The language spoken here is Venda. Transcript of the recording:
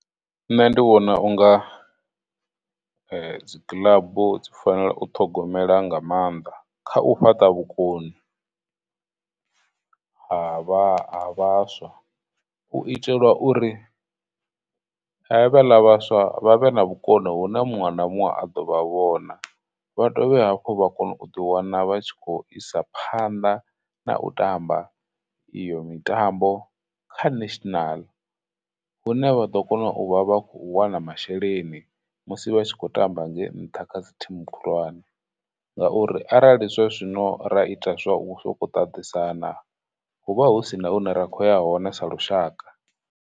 Nṋe ndi vhona unga dzi club dzi fanela u ṱhogomela nga maanḓa kha u fhaṱa vhukoni ha vha, ha vhaswa u itela uri havhaḽa vhaswa vhavhe na vhukoni hune muṅwe na muṅwe a do vha vhona, vha dovhe hafhu vha kone u ḓi wana vha tshi khou isa phanḓa na u tamba iyo mitambo kha national hune vha ḓo kona u vha vha khou wana masheleni musi vhatshi khou tamba ngei nṱha kha dzi team khulwane ngauri, arali zwa zwino ra ita zwa u sokou tatisana, huvha hu sina hune ra khou ya hone sa lushaka.